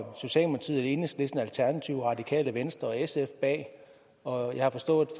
enhedslisten og alternativet og radikale venstre og sf bag og jeg har forstået